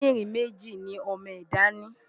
Kídìrín méjì ni ọmọ ẹ̀dá ni.